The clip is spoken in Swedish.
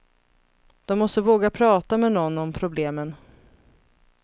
De måste våga prata med någon om problemen.